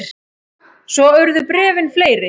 Svo urðu bréfin fleiri.